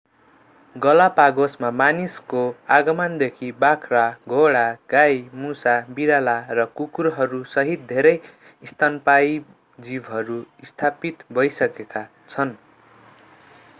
गलापागोसमा मानिसको आगमनदेखि बाख्रा घोडा गाई मुसा बिराला र कुकुरहरूसहित धेरै स्तनपायी जीवहरू स्थापित भइसकेका छन्